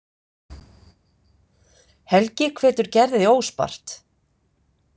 Helgi hvetur Gerði óspart.